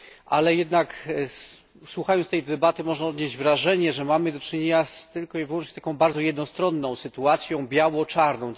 Ale jednak, słuchając tej debaty, można odnieść wrażenie, że mamy do czynienia tylko i wyłącznie z taką bardzo jednostronną sytuacją, biało czarną.